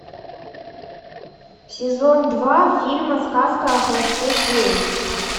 сезон два фильма сказка о хвосте феи